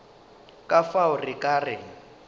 ka fao re ka re